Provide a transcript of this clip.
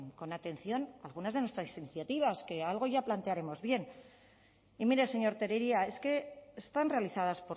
con atención algunas de nuestras iniciativas que algo ya plantearemos bien y mire señor tellería es que están realizadas